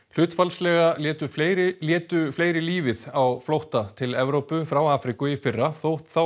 hlutfallslega létu fleiri létu fleiri lífið á flótta til Evrópu frá Afríku í fyrra þó